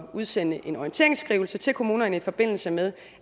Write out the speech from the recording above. at udsende en orienteringsskrivelse til kommunerne i forbindelse med